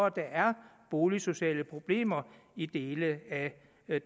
at der er boligsociale problemer i dele af